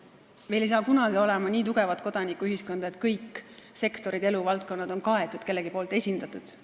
Meil ei saa kunagi olema nii tugevat kodanikuühiskonda, et kõik sektorid ja eluvaldkonnad oleksid kaetud, kellegi poolt esindatud.